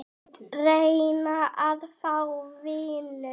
Reyna að fá vinnu?